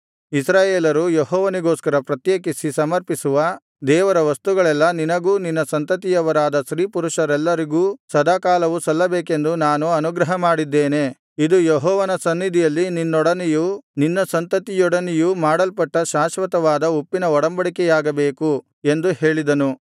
ಇಸ್ರಾಯೇಲರು ಯೆಹೋವನಿಗೋಸ್ಕರ ಪ್ರತ್ಯೇಕಿಸಿ ಸಮರ್ಪಿಸುವ ದೇವರ ವಸ್ತುಗಳೆಲ್ಲಾ ನಿನಗೂ ನಿನ್ನ ಸಂತತಿಯವರಾದ ಸ್ತ್ರೀಪುರುಷರೆಲ್ಲರಿಗೂ ಸದಾಕಾಲವೂ ಸಲ್ಲಬೇಕೆಂದು ನಾನು ಅನುಗ್ರಹಮಾಡಿದ್ದೇನೆ ಇದು ಯೆಹೋವನ ಸನ್ನಿಧಿಯಲ್ಲಿ ನಿನ್ನೊಡನೆಯೂ ನಿನ್ನ ಸಂತತಿಯೊಡನೆಯೂ ಮಾಡಲ್ಪಟ್ಟ ಶಾಶ್ವತವಾದ ಉಪ್ಪಿನ ಒಡಂಬಡಿಕೆಯಾಗಬೇಕು ಎಂದು ಹೇಳಿದನು